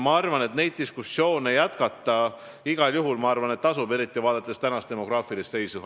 Ma arvan, et neid diskussioone jätkata igal juhul tasub, eriti vaadates tänast demograafilist seisu.